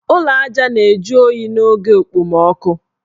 Ụlọ aja na-eju oyi n' oge okpomoọkụ.